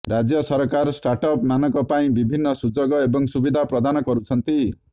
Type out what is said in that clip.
ରାଜ୍ୟ ସରକାର ଷ୍ଟାର୍ଟଅପ୍ ମାନଙ୍କ ପାଇଁ ବିଭିନ୍ନ ସୁଯୋଗ ଏବଂ ସୁବିଧା ପ୍ରଦାନ କରୁଛନ୍ତି